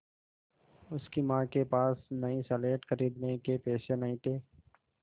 उसकी माँ के पास नई स्लेट खरीदने के पैसे नहीं थे